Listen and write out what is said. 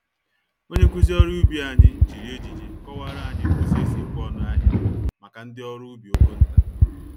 Onye nkụzi ọrụ ubi anyị, jiri ejije kọwara anyị ụzọ esi ekwe-ọnụ-ahịa, màkà ndi ọrụ ubi ogo ntà.